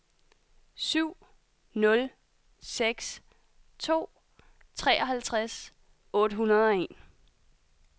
syv nul seks to treoghalvtreds otte hundrede og en